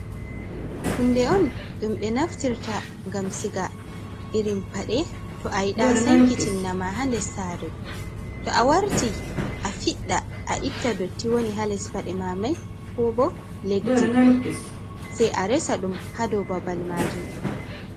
Hunde on ɗum ɓe naftirta ngam siga irin paɗe to a yida sankiti nama ha nder sare, to a warti a fiɗda a itta dotti woni ha les paɗe ma mai ko bo leddi sai a resa ɗum ha dou babal majum.